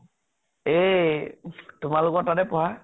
এই তোমালোকৰ তাতে পঢ়া ?